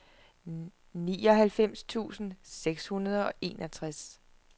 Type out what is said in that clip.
nioghalvfems tusind seks hundrede og enogtres